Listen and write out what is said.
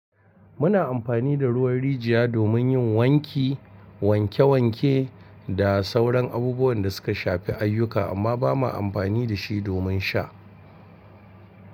Muna amfani da ruwan rijiya domin yin wanki, wanke wanke da sauran abubuwan da suka shafi ayyuka amma ba ma amfani da shi domin sha.